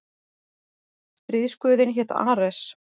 Stríðsguðinn hét Ares.